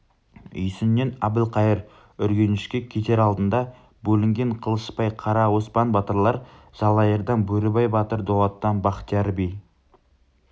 үйсіннен әбілқайыр үргенішке кетер алдында бөлінген қылышбай қара оспан батырлар жалайырдан бөрібай батыр дулаттан бахтияр би